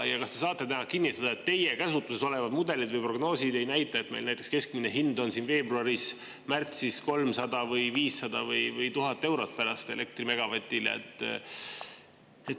Kas te saate täna kinnitada, et teie käsutuses olevad mudelid või prognoosid ei näita, et meil näiteks keskmine elektri megavati hind on siin veebruaris-märtsis 300 või 500 või 1000 eurot?